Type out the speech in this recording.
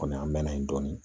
Kɔmi an mɛɛnna dɔɔni